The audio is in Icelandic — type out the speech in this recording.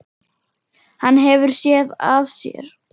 Hann hefur SÉÐ AÐ SÉR.